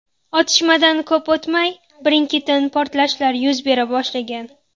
Otishmadan ko‘p o‘tmay, birin-ketin portlashlar yuz bera boshlagan.